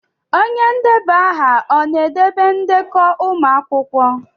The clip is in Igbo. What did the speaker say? Onye na-edeba aha ọ na-edobe ndekọ ụmụ akwụkwọ?